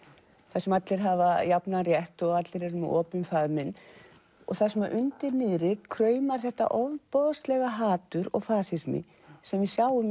þar sem allir hafa jafnan rétt og allir eru með opinn faðminn og þar sem að undir niðri kraumar þetta ofboðslega hatur og fasismi sem við sjáum í